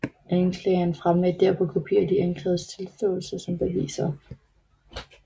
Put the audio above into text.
Anklageren fremlagde derpå kopier af de anklagedes tilståelser som beviser